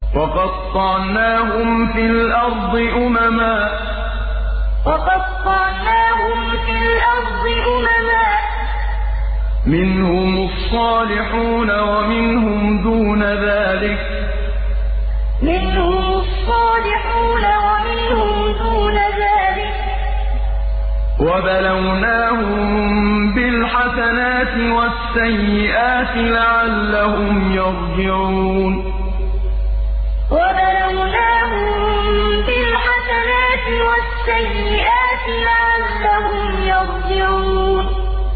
وَقَطَّعْنَاهُمْ فِي الْأَرْضِ أُمَمًا ۖ مِّنْهُمُ الصَّالِحُونَ وَمِنْهُمْ دُونَ ذَٰلِكَ ۖ وَبَلَوْنَاهُم بِالْحَسَنَاتِ وَالسَّيِّئَاتِ لَعَلَّهُمْ يَرْجِعُونَ وَقَطَّعْنَاهُمْ فِي الْأَرْضِ أُمَمًا ۖ مِّنْهُمُ الصَّالِحُونَ وَمِنْهُمْ دُونَ ذَٰلِكَ ۖ وَبَلَوْنَاهُم بِالْحَسَنَاتِ وَالسَّيِّئَاتِ لَعَلَّهُمْ يَرْجِعُونَ